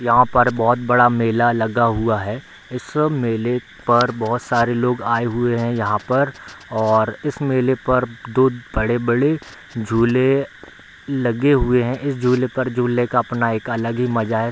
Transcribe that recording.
यहां पर बहुत बड़ा मेला लगा हुआ है इस मेले पर बहुत सारे लोग आये हुए है यहां पर और इस मेले पर दो बड़े-बड़े झूले लगे हुए है इस झूले पर झूलने का अपना एक अलग ही मजा है।